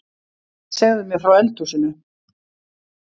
Segðu mér frá eldhúsinu